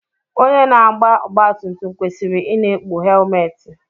Onye na-agba ọgbatumtum kwesịrị ị na-ekpu helmetị.